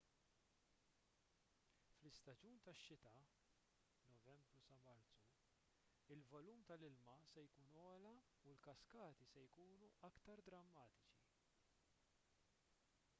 fl-istaġun tax-xita novembru sa marzu il-volum tal-ilma se jkun ogħla u l-kaskati se jkunu aktar drammatiċi